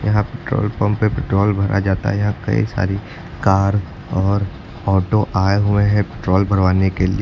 यहां petrol pump पे petrol भरा जाता है यहां कई सारी कार और ऑटो आए हुए हैं पेट्रोल भरवाने के लिए।